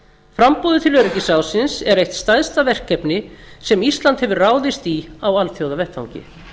framboðið til öryggisráðsins er eitt stærsta verkefni sem ísland hefur ráðist í á alþjóðavettvangi